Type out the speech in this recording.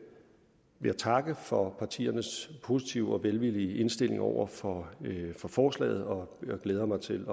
vil jeg takke for partiernes positive og velvillige indstilling over for forslaget og jeg glæder mig til